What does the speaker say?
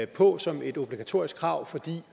på som et obligatorisk krav fordi